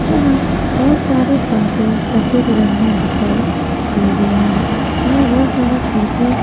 यहां बहुत सारे पंखे सफेद रंग में दिखाई दे रहे हैं। यहां बहुत सारा कुर्सी--